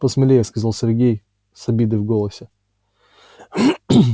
посмелее сказал сергей с обидой в голосе